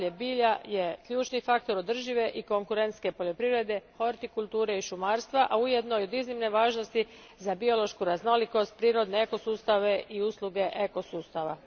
Zdravlje bilja je ključni faktor održive i konkurentne poljoprivrede, hortikulture i šumarstva, a ujedno i od iznimne važnosti za biološku raznolikost, prirodne ekosustave i usluge ekosustava.